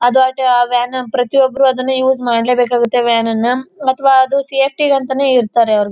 ಅದು ಆಟೇ ಆ ವ್ಯಾನ್ ಪ್ರತಿ ಒಬ್ಬರು ಅದನೆ ಯೌಜ್ ಮಾಡ್ಲೇಬೇಕು ಆಗುತ್ತೆ ವ್ಯಾನ್ ನುನ ಮತ್ತ್ ಅದು ಸೇಫ್ಟಿ ಗೆ ಅಂತಾನೆ ಇರ್ತಾರೆ.